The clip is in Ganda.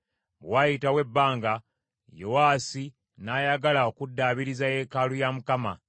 Bwe waayitawo ebbanga, Yowaasi n’ayagala okuddaabiriza yeekaalu ya Mukama .